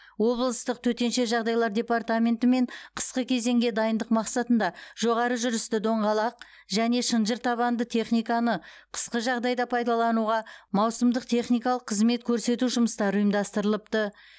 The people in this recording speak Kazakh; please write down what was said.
облыстық төтенше жағдайлар департаментімен қысқы кезеңге дайындық мақсатында жоғары жүрісті доңғалақ және шынжыр табанды техниканы қысқы жағдайда пайдалануға маусымдық техникалық қызмет көрсету жұмыстары ұйымдастырылыпты